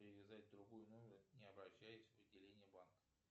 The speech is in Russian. привязать другой номер не обращаясь в отделение банка